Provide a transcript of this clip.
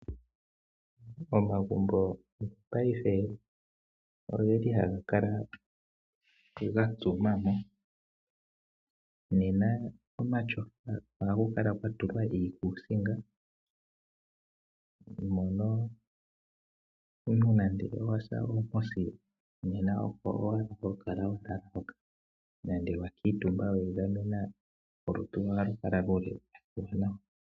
Omagumbo go paife oge li haga ka ga tungwa mo, nena komatyofa ohaku kala kwa tulwa iikuusinga mono omuntu nande owa say oomposi nena oko wala ha kala hoka nenge wa kuutumbwa weegamena, olutu lwoye ohalu kala luli nawa.